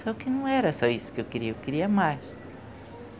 Só que não era só isso que eu queria, eu queria mais.